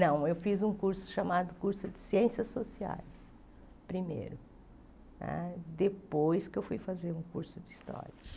Não, eu fiz um curso chamado curso de ciências sociais primeiro né, depois que eu fui fazer um curso de história.